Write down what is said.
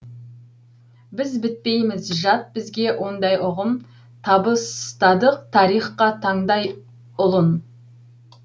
біз бітпейміз жат бізге ондай ұғым табыстадық тарихқа тандай ұлын